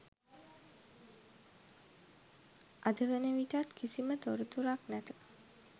අද වන විටත් කිසිම තොරතුරක් නැත.